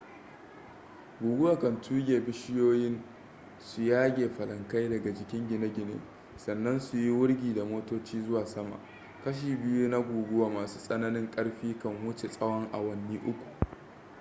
guguwa kan tuge bishiyoyin su yage falankai daga jikin gine-gine sannan su yi wurgi da motoci zuwa sama kashi biyu na guguwa masu tsananin ƙarfi kan wuce tsawon awanni uku